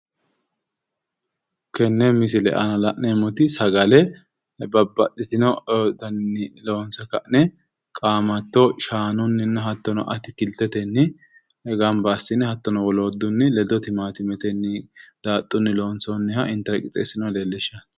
Tenne misile aana la'neemmoti sagale babbaxitino daninni loonsoonni sagale qaamatto shaanunni hattono atikiltetenni gamba assine hattono woluri ledo gamba assine timaantimetenni daaxxunni loonsoonniha intara qixxeessinoonniha ikkanno